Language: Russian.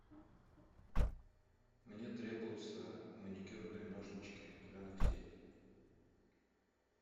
мне требуется маникюрные ножнички для ногтей